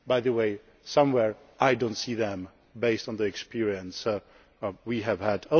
By the way, somehow I do not see them, based on the experience that we have had.